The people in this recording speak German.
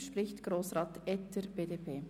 Es spricht Grossrat Etter, BDP.